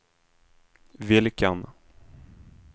vilken